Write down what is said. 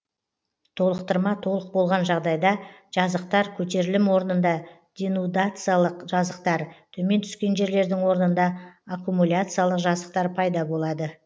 толықтырма толық болған жағдайда жазықтар көтерілім орнында денудациялық жазықтар төмен түскен жерлердің орнында аккумуляциялық жазықтар пайда болады